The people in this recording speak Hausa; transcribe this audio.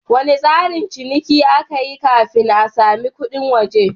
Wane tsarin ciniki aka yi kafin a sami kudin waje?